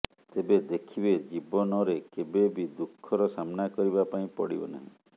ତେବେ ଦେଖିବେ ଜିବନ ରେ କେବେ ବି ଦୁଖଃ ର ସାମ୍ନା କରିବା ପାଇଁ ପଡିବ ନାହିଁ